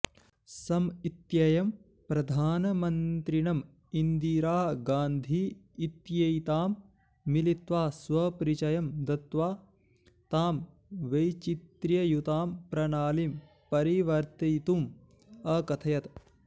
Sam इत्ययं प्रधानमन्त्रिणम् इन्दिरा गान्धी इत्येतां मिलित्वा स्वपरिचयं दत्त्वा तां वैचित्र्ययुतां प्रणालीं परिवर्तितुम् अकथयत्